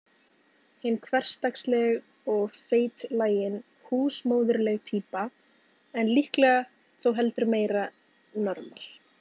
Hin hversdagsleg og feitlagin, húsmóðurleg týpa, en líklega þó heldur meira normal.